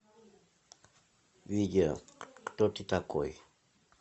видео кто ты такой